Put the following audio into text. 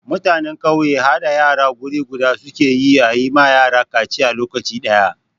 Mutanen ƙauye haɗa yara guri guda su ke yi a yi ma yara kaciya lokaci ɗaya.